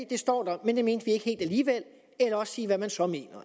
det står der men det mente vi ikke helt alligevel eller også sige hvad man så mener